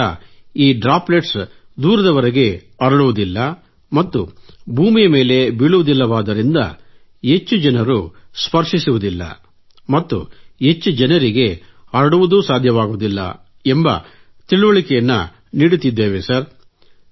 ಇದರಿಂದ droplets ದೂರದವರೆಗೆ ಹರಡುವುದಿಲ್ಲ ಮತ್ತು ಭೂಮಿಯ ಮೇಲೆ ಬೀಳುವುದಿಲ್ಲವಾದ್ದರಿಂದ ಹೆಚ್ಚು ಜನರು ಸ್ಪರ್ಷಿಸುವುದಿಲ್ಲ ಮತ್ತು ಹೆಚ್ಚು ಜನರಿಗೆ ಹರಡುವುದು ಸಾಧ್ಯವಾಗುವುದಿಲ್ಲ ಎಂದು ತಿಳುವಳಿಕೆ ನೀಡುತ್ತಿದ್ದೇವೆ ಸರ್